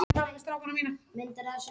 Svo lengi lærir sem lifir.